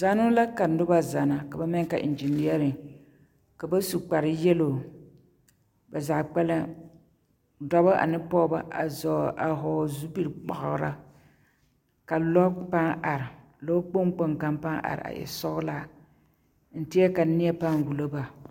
Zanoo la ka noba zana ka ba maŋ yeli ka eŋgineԑrԑŋ. Ka bas u kpare yelo ba zaa kpԑlem dͻbͻ ane pͻgebͻ a zͻͻle a vͻͻle zupili kpagila. Ka lͻre paa are lͻkpoŋ kpoŋ kaŋ paa are a e sͻgelaa. N teԑre ka neԑ paa wulo ba.